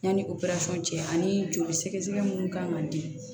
Yanni operasɔn cɛ ani joli sɛgɛsɛgɛ minnu kan ka di